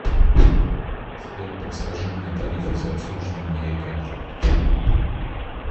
сбер подскажи мне тарифы за обслуживание моей карты